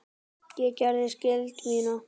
Ég gerði skyldu mína.